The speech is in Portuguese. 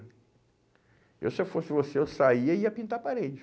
Se eu fosse você, eu saía e ia pintar parede.